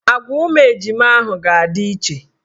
Agwa ụmụ ejima ahụ ga-adị iche.